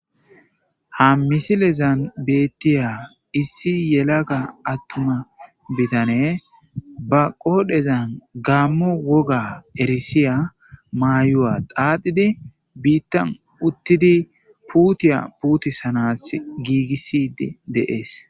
ha misilezan beettiya issi yelaga attuma bitane ba qoodhezan gaammo woga erisiya maayu7a qaadidi biittan uttidi puutiya puutisanas giigisid deees